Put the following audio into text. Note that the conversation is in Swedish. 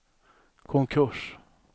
konkurs